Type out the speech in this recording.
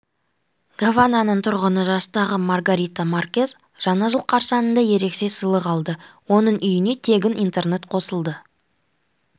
гавананың тұрғыны жастағы маргарита маркез жаңа жыл қарсаңында ерекше сыйлық алды оның үйіне тегін интернет қосылды